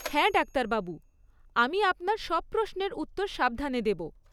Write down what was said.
হ্যাঁ ডাক্তারবাবু, আমি আপনার সব প্রশ্নের উত্তর সাবধানে দেবো।